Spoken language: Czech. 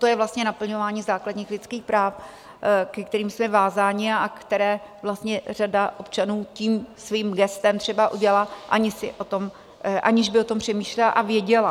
To je vlastně naplňování základních lidských práv, ke kterým jsme vázáni, a které vlastně řada občanů tím svým gestem třeba udělá, aniž by o tom přemýšlela a věděla.